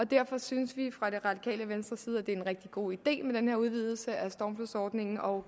derfor synes vi fra det radikale venstres side at det er en rigtig god idé med den her udvidelse af stormflodsordningen og